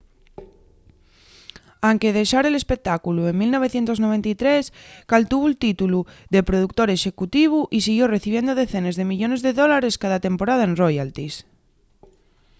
anque dexare l’espectáculu en 1993 caltuvo’l títulu de productor executivu y siguió recibiendo decenes de millones de dólares cada temporada en royalties